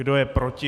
Kdo je proti?